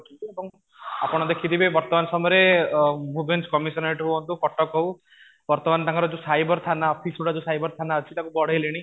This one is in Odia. ଆପଣ ଦେଖିଥିବେ ବର୍ତ୍ତମାନ ସମୟରେ କମିଶନରେଟ ହୁଅନ୍ତୁ କଟକ ହଉ ବର୍ତ୍ତମାନ ତାଙ୍କର ଯୋଉ ସାଇବର ଥାନା ଅଫିସ ଗୁଡା ଯୋଉ ସାଇବର ଥାନା ଯୋଉ ଅଛି ତାକୁ ବଢ଼େଇଲେଣି